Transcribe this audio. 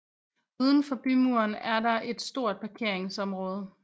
Udenfor bymuren er der et stort parkeringsområde